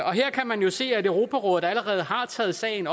og her kan man jo se at europarådet allerede har taget sagen